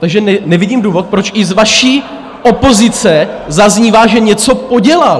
Takže nevidím důvod, proč i z vaší opozice zaznívá, že něco podělal.